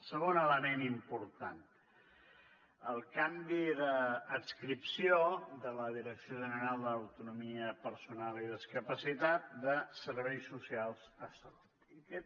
segon element important el canvi d’adscripció de la direcció general de l’autonomia personal i la discapacitat d’afers socials a salut